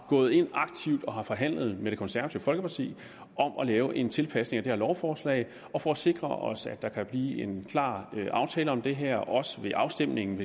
gået ind aktivt og har forhandlet med det konservative folkeparti om at lave en tilpasning af det her lovforslag og for at sikre os at der kan blive en klar aftale om det her også ved afstemningen